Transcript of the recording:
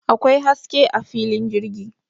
Akwai haske a filin jirgi